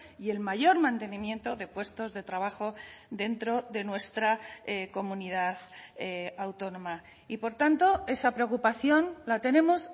y el mayor mantenimiento de puestos de trabajo dentro de nuestra comunidad autónoma y por tanto esa preocupación la tenemos